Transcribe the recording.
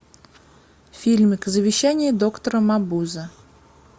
фильмик завещание доктора мабузе